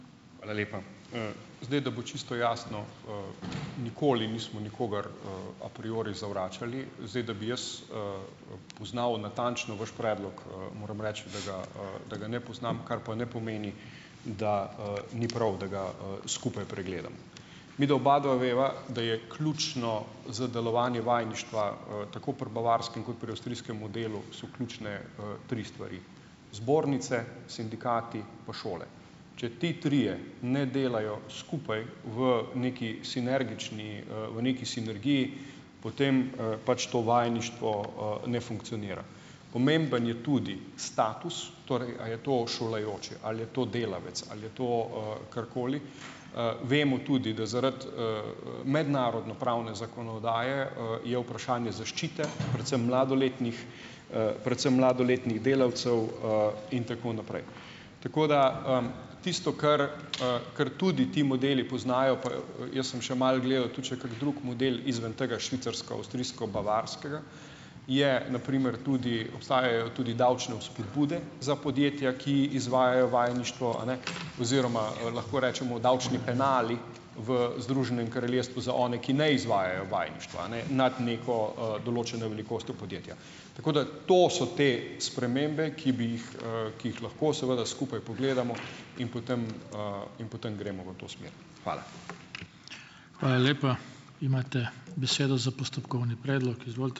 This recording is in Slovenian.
Hvala lepa. Zdaj, da bo čisto jasno, nikoli nismo nikogar a priori zavračali. Zdaj, da bi jaz, poznal natančno vaš predlog, moram reči, da ga, da ga ne poznam, kar pa ne pomeni, da, ni prav, da ga, skupaj pregledamo. Midva obadva veva, da je ključno za delovanje vajeništva, tako pri bavarskem kot pri avstrijskem modelu so ključne, tri stvari: zbornice, sindikati pa šole. Če ti trije ne delajo skupaj v neki sinergični, v neki sinergiji, potem, pač to vajeništvo, ne funkcionira. Pomemben je tudi status, torej a je to šolajoči, ali je to delavec, ali je to, karkoli. Vemo tudi, da zaradi, mednarodnopravne zakonodaje, je vprašanje zaščite predvsem mladoletnih, predvsem mladoletnih delavcev, in tako naprej. Tako da, tisto, kar, kar tudi ti modeli poznajo, pa jaz sem še malo gledal tudi še kak drug model izven tega švicarsko-avstrijsko-bavarskega, je na primer tudi, obstajajo tudi davčne spodbude za podjetja, ki izvajajo vajeništvo, a ne, oziroma, lahko rečemo, davčni penali v Združenem kraljestvu za one, ki ne izvajajo vajeništva, ne, nad neko, določeno velikostjo podjetja. Tako da to so te spremembe, ki bi jih, ki jih lahko seveda skupaj pogledamo in potem, in potem gremo v to smer. Hvala.